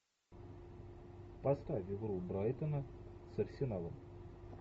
поставь игру брайтона с арсеналом